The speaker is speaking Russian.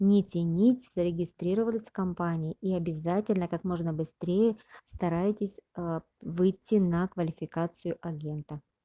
нити-нити зарегистрировали с компанией и обязательно как можно быстрее постарайтесь выйти на квалификацию агента